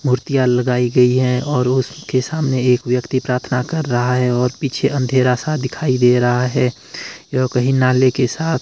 मूर्तियां लगाई गई है और उसके सामने एक व्यक्ति प्रार्थना कर रहा है और पीछे अंधेरा सा दिखाई दे रहा है यह कही नाले के साथ--